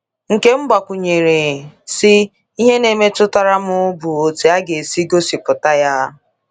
Nkem gbakwụnyere, sị: “ Ihe na -mmetutara m bụ otú e si gosipụta ya.